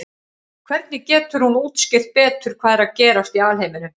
hvernig getur hún útskýrt betur hvað er að gerast í alheiminum